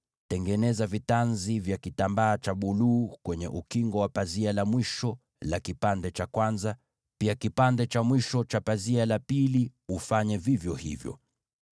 Tengeneza vitanzi vya kitambaa cha buluu kwenye upindo wa pazia la mwisho la fungu la kwanza, na ufanye vivyo hivyo na pazia la fungu la mwisho.